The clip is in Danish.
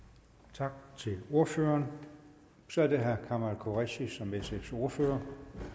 tak til ordføreren så er det herre kamal qureshi som sfs ordfører